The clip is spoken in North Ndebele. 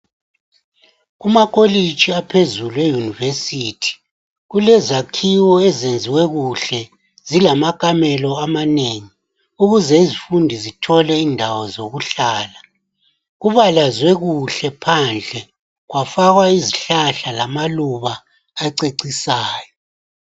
Kumakolitshi aphezulu, e-university. Kulezakhiwo ezenziwe kuhle. Zilamakamelo amanengi. Ukuze izifundi zithole indawo, zokuhlala. Kubalazwe kuhle phandle. Kwafakwa izihlahla, lamaluba, acecisayo.